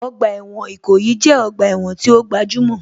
Ọgbà ẹ̀wọ̀n Ìkòyí jẹ́ ọgbà ẹ̀wọ̀n tí ó gbajúmọ̀